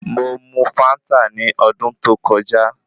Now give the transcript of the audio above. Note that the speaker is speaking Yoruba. Mo mu fáńtà ní ọdún tó kọjá.